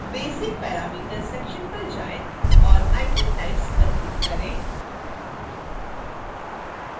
basic parameters section पर जाएँ और item types पर click करें